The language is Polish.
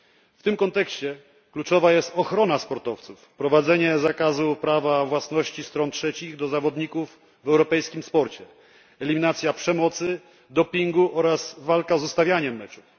W tym kontekście kluczowa jest ochrona sportowców i wprowadzenie zakazu prawa własności stron trzecich do zawodników w europejskim sporcie, eliminacja przemocy, dopingu oraz walka z ustawianiem meczów.